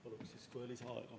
Palun kolm minutit lisaaega!